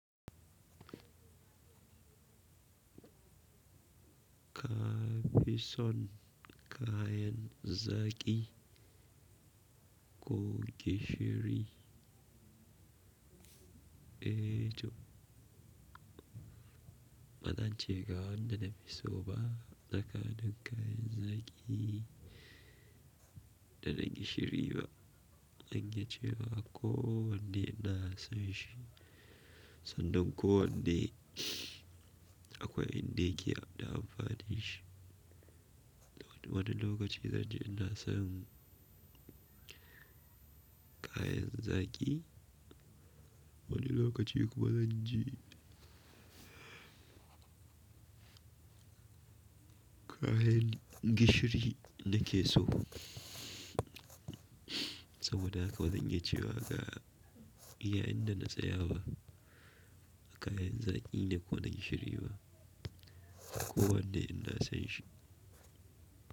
Ka fi son ka yan zaki ko gishiri? Eh to, bazance ga wanda na fi so ba, akan ka yanzaki da na gishiri ba. Na yace wa akwai wanda ina son shi, sannan ko wanda akwai inda yake da amfanin shi. Wani lokaci zan ji ina son ka yanzaki, wani lokaci kuma zan ji kayan gishiri nake so. Saboda haka zan iya cewa iya inda na tsaya ba, a ka yanzaki ne ko na gishiri ba, akwai wanda ina son shi.